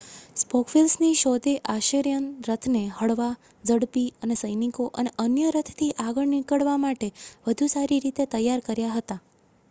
spoke વ્હીલ્સની શોધે Assyrian રથને હળવા ઝડપી અને સૈનિકો અને અન્ય રથથી આગળ નીકળવા માટે વધુ સારી રીતે તૈયાર કર્યા હતા